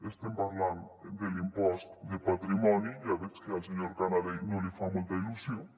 estem parlant de l’impost de patrimoni ja veig que al senyor canadell no li fa molta il·lusió